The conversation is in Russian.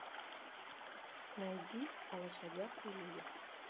найди о лошадях и людях